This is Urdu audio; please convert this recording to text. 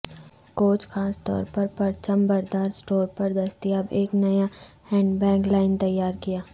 کوچ خاص طور پر پرچم بردار اسٹور پر دستیاب ایک نیا ہینڈبیگ لائن تیار کیا